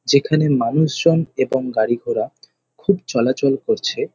যেখানে মানুষজন এবং গাড়ি ঘোড়া খুব চলাচল করছে।